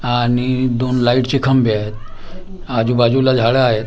आणि दोन लाईटचे खंबे आहेत आजूबाजूला झाडं आहेत.